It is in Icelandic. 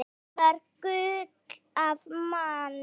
Addi var gull af manni.